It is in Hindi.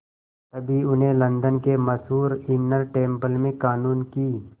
तभी उन्हें लंदन के मशहूर इनर टेम्पल में क़ानून की